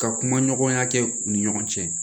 Ka kumaɲɔgɔnya kɛ u ni ɲɔgɔn cɛ